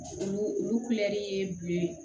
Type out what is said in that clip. Olu olu ye bulon ye